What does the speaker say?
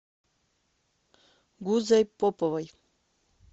гузой поповой